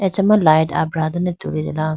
achama ma light abra dane tulitela.